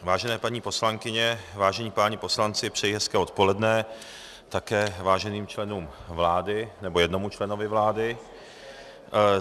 Vážené paní poslankyně, vážení páni poslanci, přeji hezké odpoledne, také váženým členům vlády, nebo jednomu členu vlády.